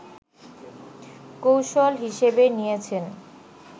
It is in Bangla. কৌশল হিসেবে নিয়েছেন